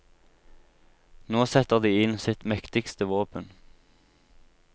Nå setter de inn sitt mektigste våpen.